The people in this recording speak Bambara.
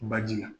Baji la